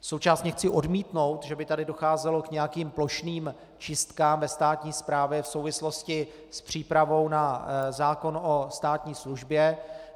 Současně chci odmítnout, že by tady docházelo k nějakým plošným čistkám ve státní správě v souvislosti s přípravou na zákon o státní službě.